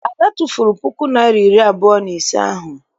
Ada tụfuru puku naịra na iri abụọ na ise ahụ.